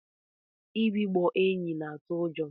Mbigbọ enyi na atụ ụjọ.